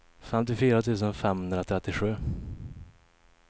femtiofyra tusen femhundratrettiosju